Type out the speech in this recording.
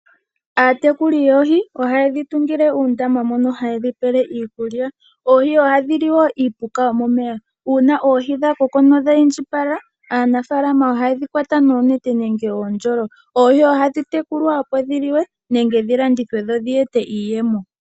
Aatekuli yoohi ohaye dhi tungile uundama mono hayedhi pele iikulya, oohi ohadhi li wo iipuka womomeya. Una oohi dha koko nodha indjipala aanafalama ohaye dhi kwata noonete nenge oondjolo. Oohi ohadhi tekulwa opo dhi liwe, nenge dhi landithwe dho dhi ete iiyemo.